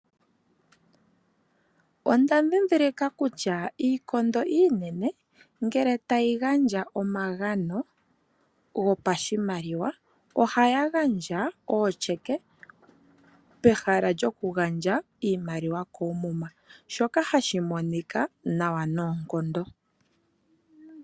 Onda dhidhilika kutya iikondo iinene ngele tayi gandja omagani gopashimaliwa, ohaya gandja ootyeke pehala lyoku gandja iimaliwa koomuma, shoka hashi monika nawa noonkondo.